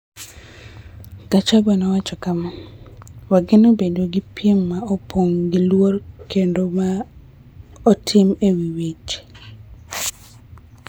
Gachagua nowacho kama: �Wageno bedo gi piem ma opong� gi luor kendo ma otim e wi weche.�